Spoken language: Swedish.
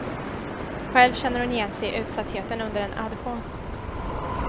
Själv känner hon igen sig i utsattheten under en audition.